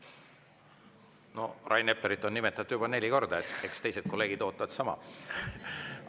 No Rain Eplerit on nimetatud juba neli korda, eks teised kolleegid ootavad sama.